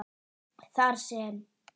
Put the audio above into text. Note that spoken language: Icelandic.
þar sem